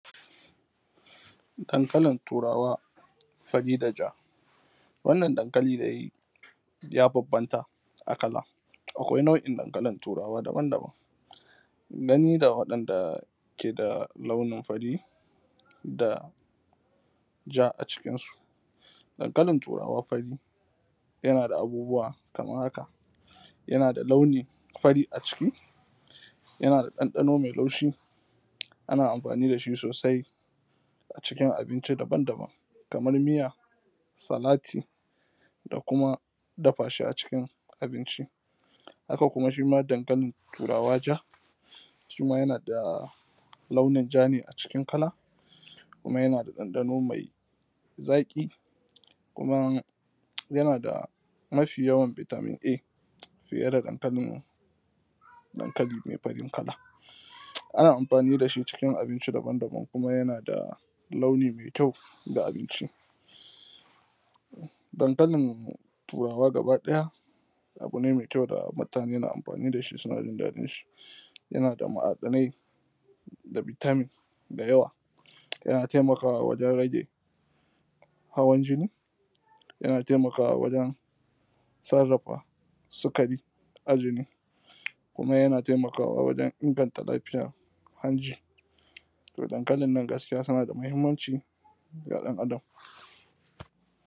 dankalin turawa sabida ja wannan dankali dai ya bambamta a kala akwai nau'in dankali daban daban nani da waɗanda ke da launin fari da ja a cikinsu dankalin turawa fari yana da abubuwa kaman haka yana da launin fari a ciki yana da ɗanɗano mai laushi ana amfani da shi sosai a cikin abinci daban daban kaman miya salati da kuma dafa shi a cikin abinci haks kuma shi ma dankalin turawa ja shi ma yana da launin ja ne a cikin kala kuma yana da ɗanɗano mai zaƙi kuma yana da mafi yawan vitamin a su irin dankalin dankali mai farin kala ana amfani da shi cikin abinci daban daban kuma yana da launin mai kyau da abinci dankalin turawa gaba ɗaya abu ne mai kyau da mutane na amfani da shi suna jin daɗin shi yana da ma'adanai da vitamin da yawa yana taimakawa wajen rage hawan jini yana taimakawa wajen sarrafa sukari a jini kuma yana taimakawa wajen inganta lafiyar hanji to dankalin nan gaskiya tana da mahimmanci ga ɗan adam